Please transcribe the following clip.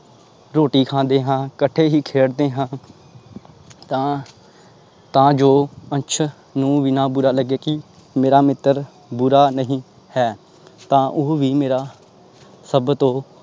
ਰੋਟੀ ਖਾਂਦੇ ਹਾਂ ਇਕੱਠੇ ਹੀ ਖੇਡਦੇ ਹਾਂ ਤਾਂ ਤਾਂ ਜੋ ਅੰਸ਼ ਨੂੰ ਵੀ ਨਾ ਬੁਰਾ ਲੱਗਾ ਕਿ ਮੇਰਾ ਮਿੱਤਰ ਬੁਰਾ ਨਹੀਂ ਹੈ ਤਾਂ ਉਹ ਵੀ ਮੇਰਾ ਸਭ ਤੋਂ